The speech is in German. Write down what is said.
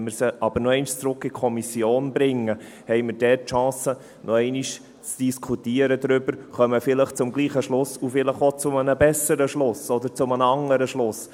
Wenn wir sie aber noch einmal zurück in die Kommission bringen, haben wir dort die Chance, noch einmal darüber zu diskutieren, kommen vielleicht zum selben Schluss oder vielleicht zu einem besseren oder zu einem anderen Schluss.